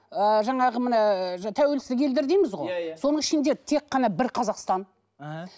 ы жаңағы міне тәуелсіздік елдер дейміз ғой иә иә соның ішінде тек қана бір қазақстан іхі